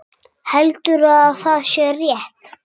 Heldur að sé rétt.